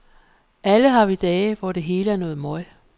Alle har vi dage, hvor det hele er noget møg.